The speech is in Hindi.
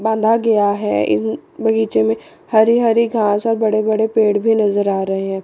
बांधा गया है इन बगीचे में हरी हरी घास और बड़े-बड़े पेड़ भी नज़र आ रहे हैं।